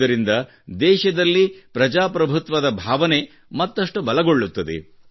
ಇದರಿಂದ ದೇಶದಲ್ಲಿ ಪ್ರಜಾಪ್ರಭುತ್ವದ ಭಾವನೆ ಮತ್ತಷ್ಟು ಬಲಗೊಳ್ಳುತ್ತದೆ